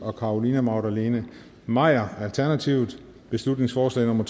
og carolina magdalene maier beslutningsforslag nummer